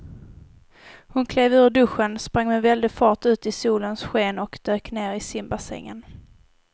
Hon klev ur duschen, sprang med väldig fart ut i solens sken och dök ner i simbassängen.